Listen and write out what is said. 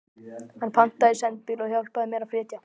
Hann pantaði sendibíl og hjálpaði mér að flytja.